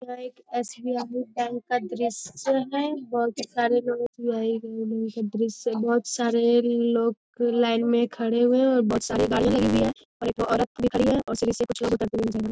यह एक SBI. Bank का दृश्य है बहुत ही सारे लोग लाइन बहुत सारे लोग लाइन मे खड़े हुए है और बहुत सारे गाड़ियां लगी हुई है और एक वो औरत भी खड़ी है और सीढ़ी से कुछ लोग उतरते हुए जा रहे --